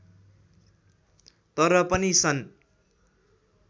तर पनि सन्